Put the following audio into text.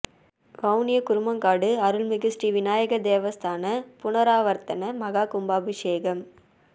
வவுனியா குருமன்காடு அருள் மிகு ஸ்ரீ விநாயகர் தேவஸ்தான புனராவர்த்தன மஹாகும்பாபிஷேகம்